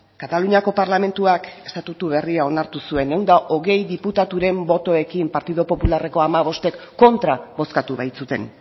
kataluniako parlamentuak estatutu berriak onartu zuen ehun eta hogei diputaturen botoekin partido popularreko hamabostek kontra bozkatu baitzuten